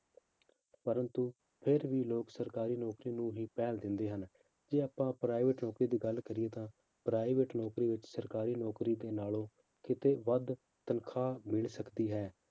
ਪਰੰਤੂ ਫਿਰ ਵੀ ਲੋਕ ਸਰਕਾਰੀ ਨੌਕਰੀ ਨੂੰ ਹੀ ਪਹਿਲ ਦਿੰਦੇ ਹਨ ਜੇ ਆਪਾਂ private ਨੌਕਰੀ ਦੀ ਗੱਲ ਕਰੀਏ ਤਾਂ private ਨੌਕਰੀ ਵਿੱਚ ਸਰਕਾਰੀ ਨੌਕਰੀ ਦੇ ਨਾਲੋਂ ਕਿਤੇ ਵੱਧ ਤਨਖਾਹ ਮਿਲ ਸਕਦੀ ਹੈ